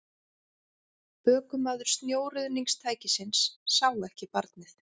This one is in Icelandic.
Ökumaður snjóruðningstækisins sá ekki barnið